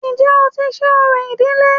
Ǹjẹ́ o ti ṣe orò ìdílé